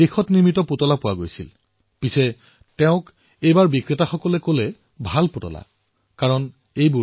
কিন্তু অভিনৱজীয়ে চিঠিত লিখিলে যে এতিয়াৰে তাৰে বহু দোকানীয়ে এই বুলি কৈ পুতলা বিক্ৰী কৰি আছে যে ভাল পুতলা লওক কিয়নো এয়া ভাৰতত নিৰ্মাণ কৰা হৈছে মেড ইন ইণ্ডিয়া হয়